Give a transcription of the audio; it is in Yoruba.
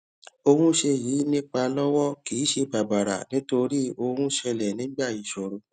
ohun ṣe yìí nípa Ọwọ́ kìí ṣe bàbàrà nítorí ohun ṣẹlè nígbà ìṣòro